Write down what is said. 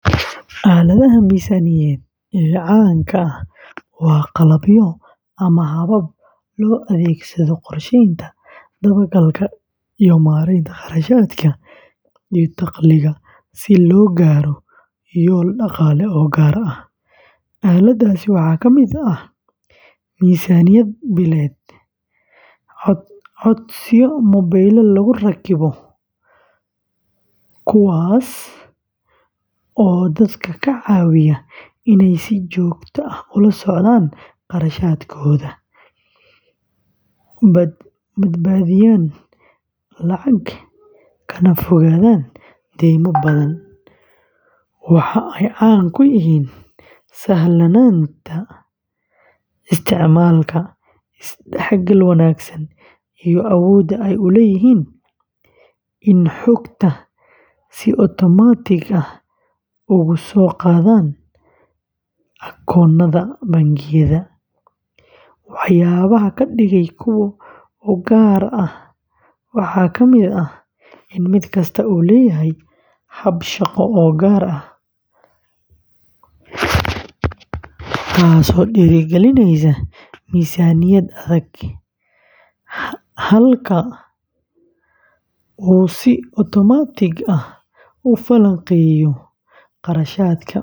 Aaladaha miisaaniyadeed ee caanka ah waa qalabyo ama habab loo adeegsado qorsheynta, dabagalka, iyo maareynta kharashaadka iyo dakhliga si loo gaaro yoolal dhaqaale oo gaar ah. Aaladahaasi waxaa ka mid ah miisaaniyad billeed, codsiyo mobilada lagu rakibo kuwaas oo dadka ka caawiya inay si joogto ah ula socdaan kharashaadkooda, badbaadiyaan lacag, kana fogaadaan deymo badan. Waxa ay caan ku yihiin sahlanaanta isticmaalka, isdhexgal wanaagsan, iyo awoodda ay u leeyihiin in xogta si otomaatig ah uga soo qaadaan akoonnada bangiyada. Waxyaabaha ka dhigaya kuwo u gaar ah waxaa kamid ah in mid kasta uu leeyahay hab shaqo oo gaar ah, halka uu si otomaatig ah u falanqeeyo kharashaadka.